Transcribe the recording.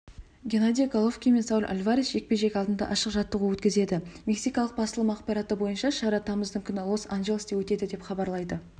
геннадий головкин мен сауль альварес жекпе-жек алдында ашық жаттығу өткізеді мексикалық басылымы ақпараты бойынша шара тамыздың күні лос-анджелесте өтеді деп хабарлайды